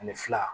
Ani fila